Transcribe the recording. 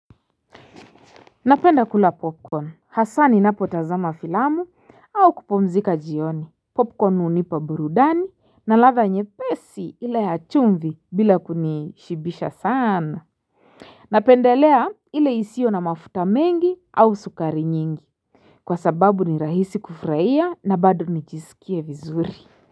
Napenda kula popcorn haswa ni napo tazama filamu au kupomzika jioni popcorn hunipaburudani na latha nyepesi ile ya chumvi bila kunishibisha sana Napendelea ile isio na mafuta mengi au sukari nyingi Kwa sababu ni rahisi kufurahia na bado nijisikie vizuri.